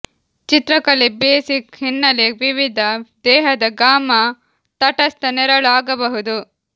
ಚಿತ್ರಕಲೆ ಬೇಸಿಕ್ ಹಿನ್ನೆಲೆ ವಿವಿಧ ದೇಹದ ಗಾಮಾ ತಟಸ್ಥ ನೆರಳು ಆಗಬಹುದು